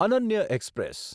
Ananya express